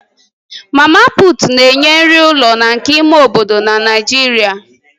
Mama Puut na-enye nri ụlọ na nke ime obodo na Naịjirịa